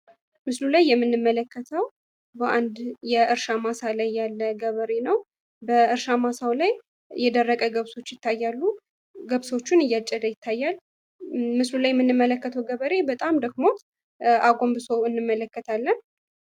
ምስሉ ላይ የምንመለከተው በአንድ የእርሻ ላይ ያለ ገበሬ ነው። በእርሻ ማስታው ላይ የደረቀ ግብፆች ይታያሉ። ገብሶችን እያጨደ ይገኛል። ምስሉ ላይ የምንመለከተው ገበሬ በጣም ደክሞት አጎምብሶ እንመለከታለን።